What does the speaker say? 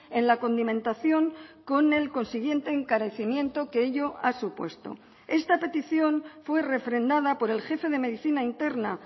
en la condimentación con el consiguiente encarecimiento que ello ha supuesto esta petición fue refrendada por el jefe de medicina interna